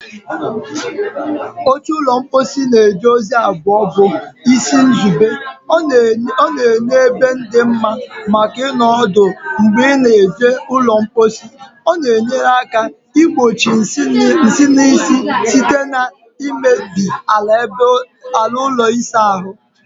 Oche ụlọ mposi na-eje ozi abụọ bụ isi nzube: ọ na-enye ebe dị mma maka ịnọdụ ala mgbe ị na-eji ụlọ mposi, ọ na-enyere aka igbochi nsị na nsị site na imebi ala ụlọ ịsa ahụ.